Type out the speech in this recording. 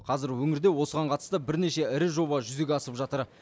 қазір өңірде осыған қатысты бірнеше ірі жоба жүзеге асып жатыр